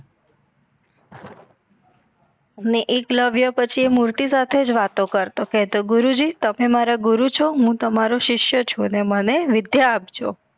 ને એકલવ્ય એ મુર્તિ સાથેજ વાતો કરતો કહતો ગુરુજી તમે મારા ગુરુજ છો હું તમારો સિસ્ય છું ને મને વિધ્ય આપજો